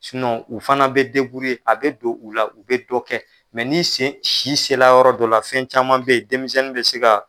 u fana bɛ ye a bɛ don u la u bɛ dɔ kɛ, n'i sen si sera yɔrɔ dɔ la fɛn caman bɛ yen denmisɛnnin bɛ se ka.